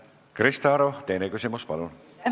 Krista Aru, teine küsimus, palun!